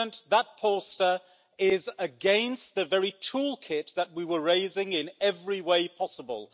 That poster is against the very toolkit that we were raising, in every way possible.